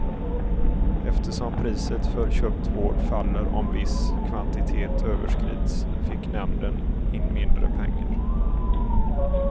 Eftersom priset för köpt vård faller om viss kvantitet överskridits fick nämnden in mindre pengar.